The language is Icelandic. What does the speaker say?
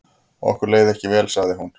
Okkur leið ekki vel sagði hún.